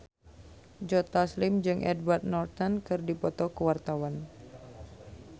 Joe Taslim jeung Edward Norton keur dipoto ku wartawan